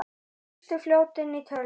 Lengstu fljótin í tölum